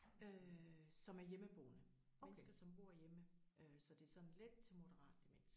Som er hjemmeboende. Mennesker som bor hjemme øh så det sådan let til moderat demens